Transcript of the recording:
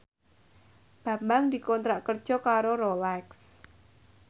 Bambang dikontrak kerja karo Rolex